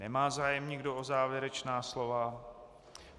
Nemá zájem nikdo o závěrečná slova.